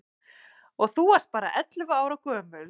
Og þú varst bara ellefu ára gömul.